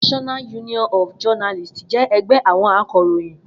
NUJ jẹ́ ẹgbẹ́ àwọn akọ̀ròyìn